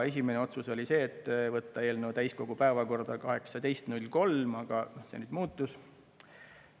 Esimene otsus oli see, et võtta eelnõu täiskogu päevakorda 18. märtsil, aga see on nüüd muutunud.